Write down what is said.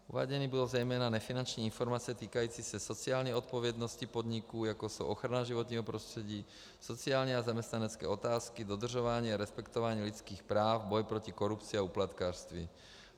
Uváděny budou zejména nefinanční informace týkající se sociální odpovědnosti podniků, jako jsou ochrana životního prostředí, sociální a zaměstnanecké otázky, dodržování a respektování lidských práv, boj proti korupci a úplatkářství.